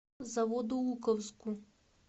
заводоуковску